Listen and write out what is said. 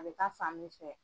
A bɛ ta fan min fɛ.